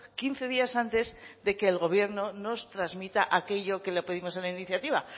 quince días antes de que el gobierno nos transmita aquello que le pedimos en la iniciativa